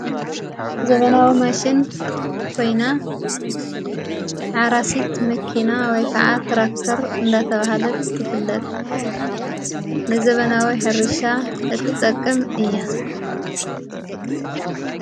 ዘበናዊ ማሽን ኮይና ሓራሲት መኪና ወይ ከዓ ትራክተር እንዳተብሃለት ትፍለቐ ንዘበናዊይ ሕሪሻ እትጠቅም እያ::